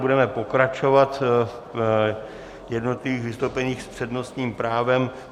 Budeme pokračovat v jednotlivých vystoupeních s přednostním právem.